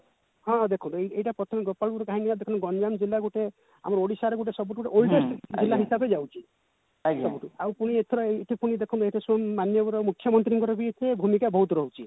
ହଁ ହଁ ଦେଖନ୍ତୁ ଏଇଟା ପ୍ରଥମେ ଗୋପାଳପୁର କାହିଁକି ନା ଦେଖନ୍ତୁ ଗଞ୍ଜାମ ଜିଲ୍ଲା ଗୋଟେ ଆମର ଓଡିଶାଏ ଗୋଟେ ସବୁଠୁ ଗୋଟେ oldest ଜିଲା ହିସାବରେ ଯାଉଛି ସବୁଠୁ ଆଉ ପୁଣି ଏଥର ଏମତି ପୁଣି ଦେଖନ୍ତୁ ମାନ୍ୟବର ମୁଖ୍ୟମନ୍ତ୍ରୀଙ୍କର ବି ଏଥିରେ ଭୂମିକା ବହୁତ ରହୁଛି